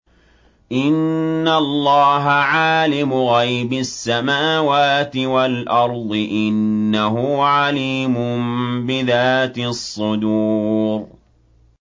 إِنَّ اللَّهَ عَالِمُ غَيْبِ السَّمَاوَاتِ وَالْأَرْضِ ۚ إِنَّهُ عَلِيمٌ بِذَاتِ الصُّدُورِ